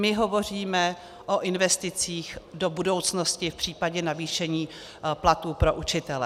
My hovoříme o investicích do budoucnosti v případě navýšení platů pro učitele.